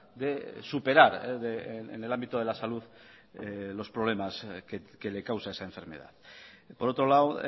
de superar en el ámbito de la salud los problemas que le causa esa enfermedad por otro lado